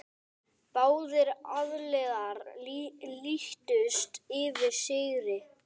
Báðir aðilar lýstu yfir sigri.